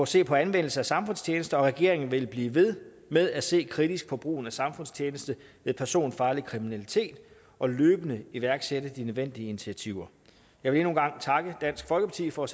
se på anvendelse af samfundstjeneste og regeringen vil blive ved med at se kritisk på brugen af samfundstjeneste med personfarlig kriminalitet og løbende iværksætte de nødvendige initiativer jeg vil endnu en gang takke dansk folkeparti for at